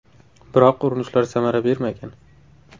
Biroq urinishlar samara bermagan.